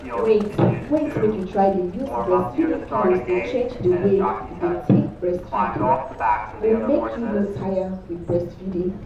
wait wait make you try dey use breastfeeding pillows dey change the way you dey take breastfeed go make you no tire with breastfeeding